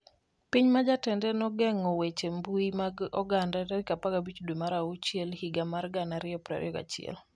Piny ma jatende nogeng'o weche mbui mag oganda 15 dwe mar achiel higa mar 2021